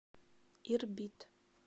ирбит